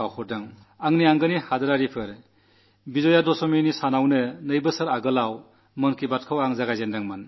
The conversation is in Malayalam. എന്റെ പ്രിയപ്പെട്ട ദേശവാസികളേ രണ്ടു വർഷം മുമ്പ് വിജയദശമിയുടെ നാളിലാണ് ഞാൻ മൻ കീ ബാത് ആരംഭിച്ചത്